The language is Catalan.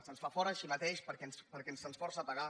se’ns fa fora així mateix perquè se’ns força a pagar